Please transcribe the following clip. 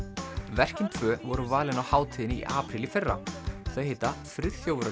verkin tvö voru valin á hátíðinni í apríl í fyrra þau heita Friðþjófur á